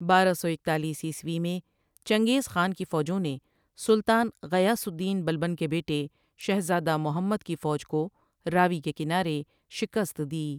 بارہ سو اکتالیس عیسوی میں چنگیز خان کی فوجوں نے سلطان غیاث الدین بلبن کے بیٹے شہزادہ محمد کی فوج کو راوی کے کنارے شکست دی ۔